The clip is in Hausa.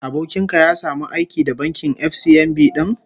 Abokin ka ya samu aiki da bankin FCMB din?